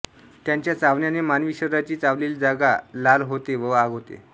त्यांच्या चावण्याने मानवी शरीराची चावलेली जागा लाल होते व आग होते